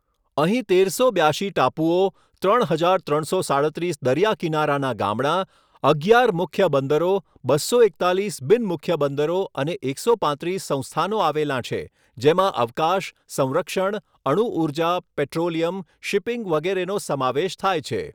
અહીં તેરસો બ્યાશી ટાપુઓ, ત્રણ હજાર ત્રણસો સાડત્રીસ દરિયા કિનારાનાં ગામડાં, અગિયાર મુખ્ય બંદરો, બસો એકતાલીસ બિન મુખ્ય બંદરો અને એકસો પાંત્રીસ સંસ્થાનો આવેલાં છે, જેમાં અવકાશ, સંરક્ષણ, અણુઊર્જા, પેટ્રોલિયમ, શિપિંગ વગેરેનો સમાવેશ થાય છે.